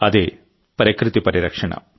అదే ప్రకృతి పరిరక్షణ